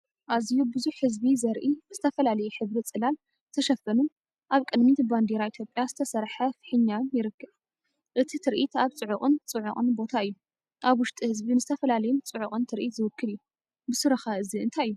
ኣዝዩ ብዙሕ ህዝቢ ዘርኢ ብዝተፈላለየ ሕብሪ ፅላል ዝተሸፈኑን ኣብ ቅድሚት ብባንዴራ ኢ/ያ ዝተሰርሐ ፊሕኛውን ይረአ። እቲ ትርኢት ኣብ ጽዑቕን ጽዑቕን ቦታ እዩ። ኣብ ውሽጢ ህዝቢ ንዝተፈላለየን ጽዑቕን ትርኢት ዝውክል እዩ። ብስሩ ኸ እዚ እንታይ እዩ?